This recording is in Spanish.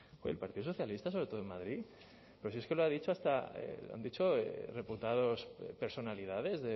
el partido socialista sobre todo en madrid pero si es que lo ha dicho hasta lo han dicho reputados personalidades